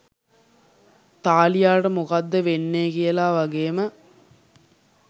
තාලියාට මොකද්ද වෙන්නේ කියලා වගේම